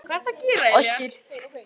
Kleifarási